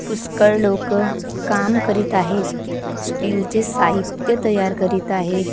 पुष्कळ लोकं काम करीत आहेत स्टीलचे साहित्य तयार करत आहेत .